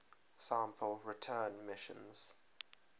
sample return missions